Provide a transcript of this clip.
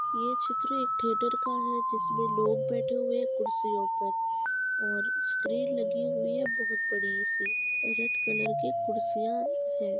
ये चित्र एक थिएटर का है जिसमें लोग बैठे हुए हैं कुर्सियों पर और स्क्रीन लगी हुई है बोहोत बड़ी सी। रेड कलर की कुर्सियाँ हैं।